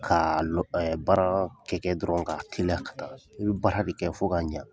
Ka lɔ baara kɛkɛ dɔrɔn ka teliya ka taa i bɛ baara de kɛ fo ka ɲa.